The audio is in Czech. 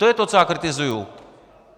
To je to, co já kritizuju!